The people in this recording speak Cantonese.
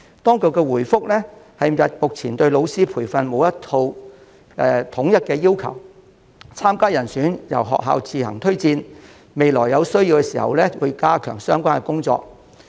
當局回覆謂目前對老師的培訓並沒有一套統一的要求，參加人選由學校自行推薦，未來有需要時會加強相關工作。